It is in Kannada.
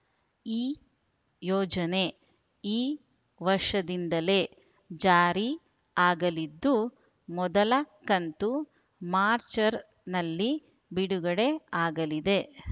ಈ ಯೋಜನೆ ಈ ವರ್ಷದಿಂದಲೇ ಜಾರಿ ಆಗಲಿದ್ದು ಮೊದಲ ಕಂತು ಮರ್ಚರ್ನಲ್ಲಿ ಬಿಡುಗಡೆ ಆಗಲಿದೆ ಮರ್ಚರ್ನಲ್ಲಿ